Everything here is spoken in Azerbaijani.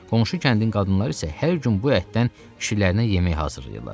Qonşu kəndin qadınları isə hər gün bu ətdən kişilərinə yemək hazırlayırlar.